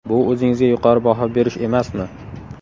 Bu o‘zingizga yuqori baho berish emasmi?